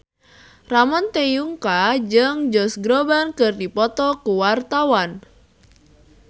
Ramon T. Yungka jeung Josh Groban keur dipoto ku wartawan